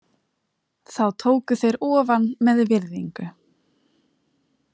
Þá tóku þeir ofan með virðingu.